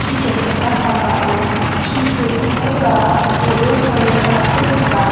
chi jokgipa sambao chi siltongkoba ro·e sale ra·ako nika.